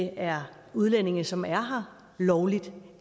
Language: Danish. er udlændinge som er her lovligt